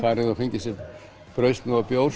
farið og fengið sér brauðsneið og bjór